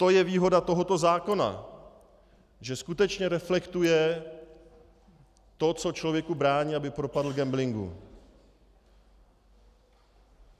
To je výhoda tohoto zákona, že skutečně reflektuje to, co člověku brání, aby propadl gamblingu.